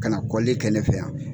Kana kɔllli kɛ ne fɛ yan bi.